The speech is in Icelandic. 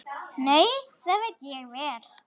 Nei, það veit ég vel.